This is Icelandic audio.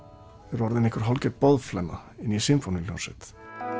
er orðinn hálfgerð boðflenna í sinfóníuhljómsveit